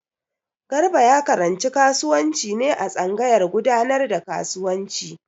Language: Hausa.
Garba ya karanci kasuwanci ne a tsangayar gudanar da kasuwanci.